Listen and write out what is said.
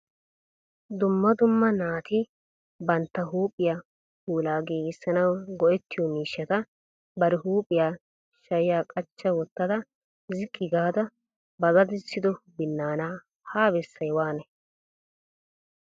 Dumma dumma naati bantta huuphiyaa puula giigisanaw go"ottiyo miishshata bari huuphiya shuuyya qachcha wottada ziqqi gaada ba daddissido binaana ha bessay waanay?